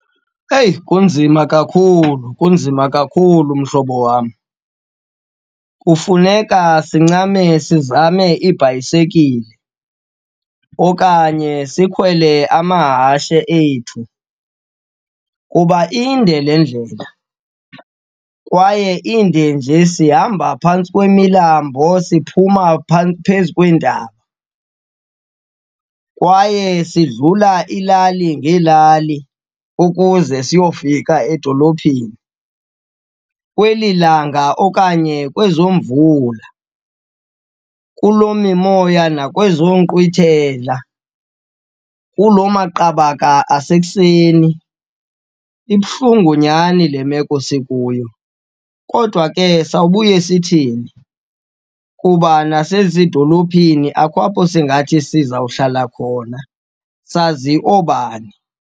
Eyi kunzima kakhulu, kunzima kakhulu mhlobo wam. Kufuneka sincame sizame iibhayisekile okanye sikhwele amahashe ethu kuba inde le ndlela kwaye inde nje sihamba phantsi kwemilambo, siphuma phezu kweentaba kwaye sidlula iilali ngeelali ukuze siyofika edolophini. Kweli langa okanye kwezo mvula, kuloo mimoya nakwezo nkqwithela, kuloo maqabaka asekuseni. Ibuhlungu nyhani le meko sikuyo. Kodwa ke sawubuye sithini? Kuba nasezidolophini akukho apho singathi sizawuhlala khona. Sazi obani?